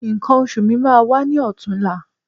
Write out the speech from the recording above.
Nǹkan oṣù mi máa wá ní ọ̀tunla